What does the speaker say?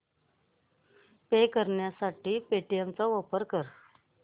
पे करण्यासाठी पेटीएम चा वापर कर